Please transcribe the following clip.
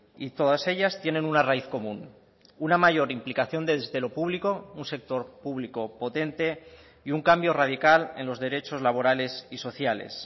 y todas ellas tienen una raíz común una mayor implicación desde lo público un sector público potente y un cambio radical en los derechos laborales y sociales